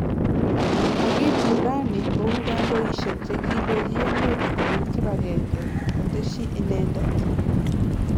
Kakipur raani kou kandoisiek che kindochi emet kopet kibagenge' Kotesyi inendet